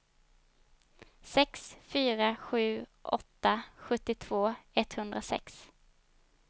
sex fyra sju åtta sjuttiotvå etthundrasex